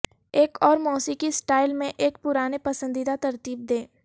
ایک اور موسیقی سٹائل میں ایک پرانے پسندیدہ ترتیب دیں